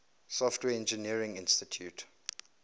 software engineering institute